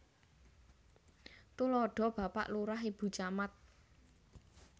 Tuladha Bapak Lurah Ibu Camat